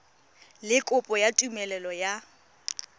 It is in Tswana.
le kopo ya tumelelo ya